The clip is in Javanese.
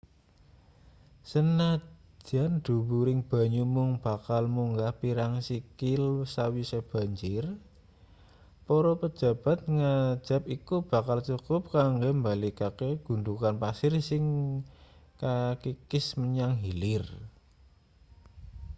sanajan dhuwuring banyu mung bakal munggah pirang sikil sawise banjir para pejabat ngajab iku bakal cukup kanggo mbalikake gundhukan pasir sing kakikis menyang hilir